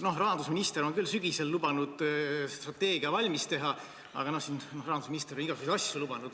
Rahandusminister on küll sügisel lubanud strateegia valmis teha, aga rahandusminister on igasuguseid asju lubanud.